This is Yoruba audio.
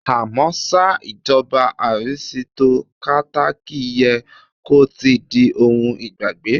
À mọ́ ṣá, ìjọba arisitokátákì yẹ kó ti di ohun ìgbàgbé.